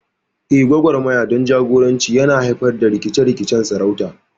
Eh, gwagwarmaya don jagoranci yana haifar da rikice-rikicen sarauta.